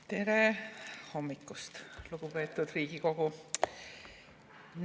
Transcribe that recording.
Tere hommikust, lugupeetud Riigikogu!